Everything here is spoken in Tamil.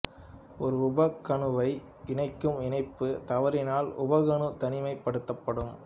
ஒரு உப கணுவை இணைக்கும் இணைப்பு தவறினால் உப கணு தனிமைப்படுத்தபடும்